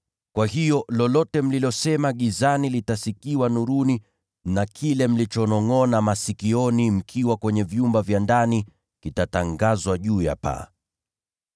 Kwa hiyo, lolote mlilosema gizani litasikiwa nuruni. Na kile mlichonongʼona masikioni mkiwa kwenye vyumba vya ndani, kitatangazwa juu ya paa.